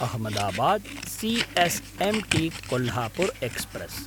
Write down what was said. Ahmedabad CS M T Kolhapur express